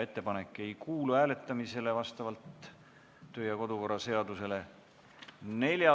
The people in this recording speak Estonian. Ettepanek ei kuulu vastavalt kodu- ja töökorra seadusele hääletamisele.